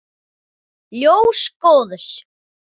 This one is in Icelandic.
Ljós góðs.